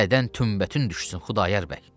Dədən tümbətün düşsün Xudayar bəy.